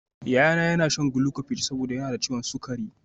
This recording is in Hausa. Yayana yana shan glucophage saboda yana da ciwon sukari